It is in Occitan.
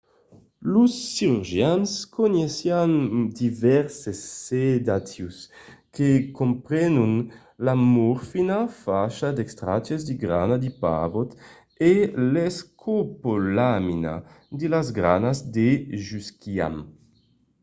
los cirurgians coneissián divèrses sedatius que comprenon la morfina facha d'extractes de granas de pavòt e l'escopolamina de las granas de jusquiam